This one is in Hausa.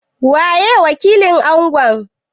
Waye wakilin Angon?